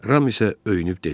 Ram isə öyünüb dedi: